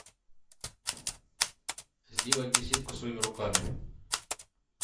сделать беседку своими руками